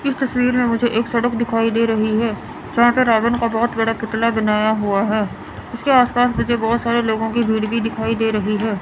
इस तस्वीर में मुझे एक सड़क दिखाई दे रही है जहां पे रावन का बहुत बड़ा पुतला बनाया हुआ है उसके आसपास मुझे बहुत सारे लोगों की भीड़ भी दिखाई दे रही है।